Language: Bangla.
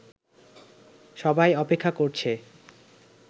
সবাই অপেক্ষা করছে